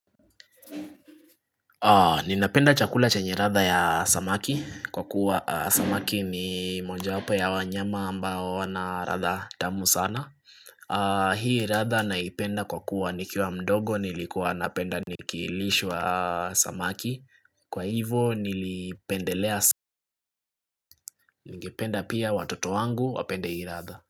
Ninapenda chakula chenye ladha ya samaki Kwa kuwa samaki ni mojawapo ya wanyama ambao wana ladha tamu sana Hii ladha naipenda kwa kuwa nikiwa mdogo nilikuwa napenda nikilishwa samaki Kwa hivo nilipendelea samaki Ningependa pia watoto wangu wapende hii ladha.